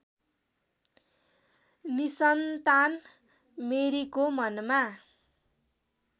निसन्तान मेरीको मनमा